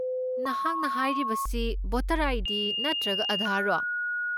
ꯅꯍꯥꯛꯅ ꯍꯥꯏꯔꯤꯁꯤ voter ID. ꯅꯠꯇ꯭ꯔꯒ ꯑꯥꯙꯥꯔꯔꯣ?